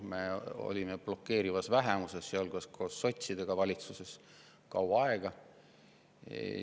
Me olime seal blokeerivas vähemuses koos sotsidega kaua aega.